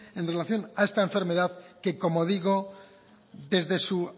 en relación a esta enfermedad que como digo desde su